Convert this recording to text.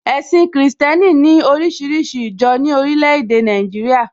Ẹ̀sìn kìrìsìtẹ́nì ní oríṣiríṣi ìjọ ní orílẹ̀ èdè Nàìjíríà